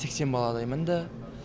сексен баладай мінді